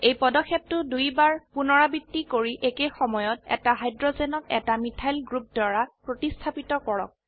এই পদক্ষেপটো দুইবাৰ পুনৰাবৃত্তি কৰি একে সময়ত এটা হাইড্ৰোজেনক এটা মিথাইল গ্ৰুপ দ্বাৰা প্ৰতিস্থাপিত কৰক